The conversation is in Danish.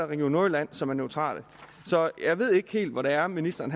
region nordjylland som er neutral så jeg ved ikke helt hvor det er ministeren